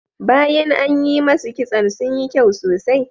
Bayan an yi masu kitson sun yi kyau sosai.